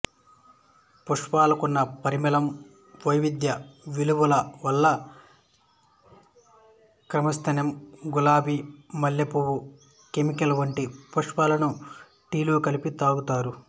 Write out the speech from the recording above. పుష్పాలకున్న పరిమళం వైద్య విలువల వల్ల క్రిసాన్తిమం గులాబి మల్లెపూవు కామోమిల్ వంటి పుష్పాలను టీలో కలిపి తాగుతారు